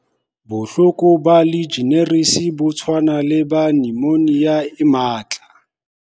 Bohloko ba Legionnaires bo tshwana le ba nyomonia e matla.